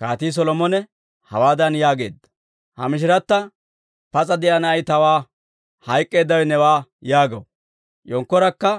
Kaatii Solomone hawaadan yaageedda; «Ha mishiratta, ‹Pas'a de'iyaa na'ay tawaa; hayk'k'eeddawe newaa› yaagaw; yenkkorakka,